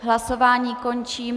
Hlasování končím.